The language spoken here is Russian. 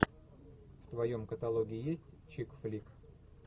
в твоем каталоге есть чикфлик